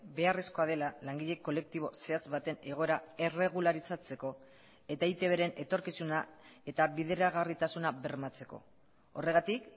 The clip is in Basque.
beharrezkoa dela langile kolektibo zehatz baten egoera erregularizatzeko eta eitbren etorkizuna eta bideragarritasuna bermatzeko horregatik